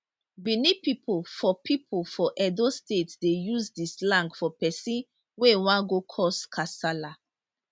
benin pipo for pipo for edo state dey use di slang for pesin wey wan go cause kasala